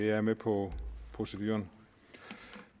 er med på proceduren